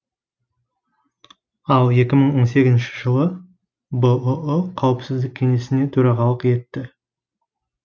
ал екі мың он сегізінші жылы бұұ қауіпсіздік кеңесіне төрағалық етті